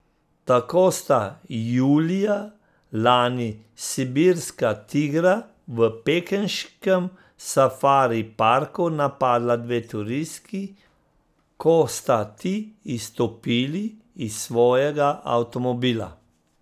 Tako sta julija lani sibirska tigra v pekinškem safari parku napadla dve turistki, ko sta ti izstopili iz svojega avtomobila.